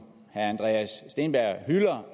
herre andreas steenberg hylder